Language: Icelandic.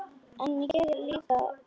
En ég er líka ljón.